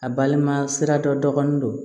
A balima sira dɔ dɔgɔnin don